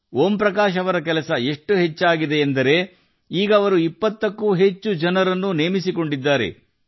ಓಂ ಪ್ರಕಾಶ್ ಜೀ ಅವರ ಕೆಲಸ ಎಷ್ಟು ವೃದ್ಧಿಸಿದೆ ಎಂದರೆ ಅವರು 20 ಕ್ಕೂ ಹೆಚ್ಚು ಜನರನ್ನು ನೇಮಿಸಿಕೊಂಡಿದ್ದಾರೆ